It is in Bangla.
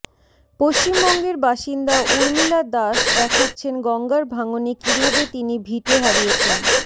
পশ্চিমবঙ্গের বাসিন্দা উর্মিলা দাস দেখাচ্ছেন গঙ্গার ভাঙনে কীভাবে তিনি ভিটে হারিয়েছেন